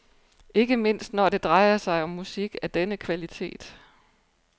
Ikke mindst når det drejer sig om musik af denne kvalitet.